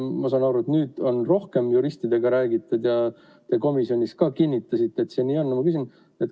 Ma saan aru, et nüüd on rohkem juristidega räägitud ja te komisjonis ka kinnitasite, et see nii on.